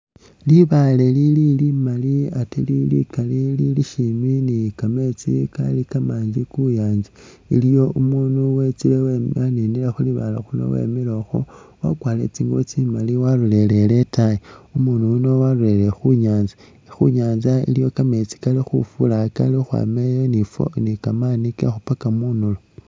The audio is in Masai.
Libaale lili limali ate likali lili shimi ni kameetsi kali kamangi khu nyaanza. Iliwo umuunu wetsile waninile khu libaale khuno wemile ukhwo wakwarire tsingubo tsimali walolele itaayi. Umuunu yuno walolelele khu nyaanza iliwo kameetsi kali khufura kali ukhwama eyi ni ifwo ni kekhupaka munulo.